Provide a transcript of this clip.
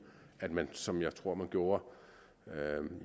at man som jeg tror man gjorde